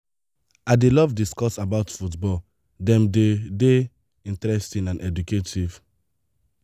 i dey love discuss about football dem dey dey interesting and educative.